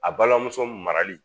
A balimamuso marali